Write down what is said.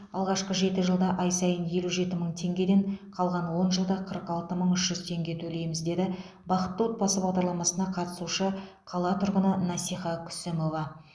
алғашқы жеті жылда ай сайын елу жеті мың теңгеден қалған он жылда қырық алты мың үш жүз теңге төлейміз деді бақытты отбасы бағдарламасына қатысушы қала тұрғыны насиха күсімова